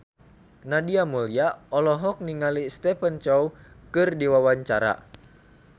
Nadia Mulya olohok ningali Stephen Chow keur diwawancara